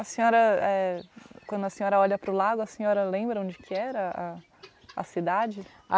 A senhora, eh, quando a senhora olha para o lago, a senhora lembra onde que era a a cidade?